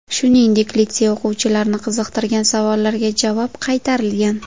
Shuningdek, litsey o‘quvchilarini qiziqtirgan savollarga javob qaytarilgan.